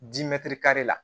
Dimi teri kari la